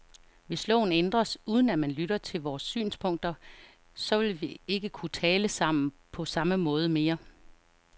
Hvis loven ændres, uden at man lytter til vores synspunkter, så vil vi ikke kunne tale sammen på samme måde mere.